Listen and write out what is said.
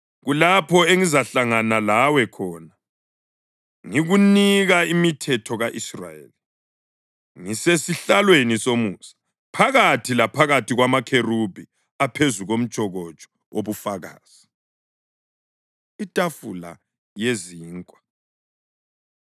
Kulapho engizahlangana lawe khona ngikunika imithetho ka-Israyeli ngisesihlalweni somusa, phakathi laphakathi kwamakherubhi aphezu komtshokotsho wobufakazi.” Itafula Yezinkwa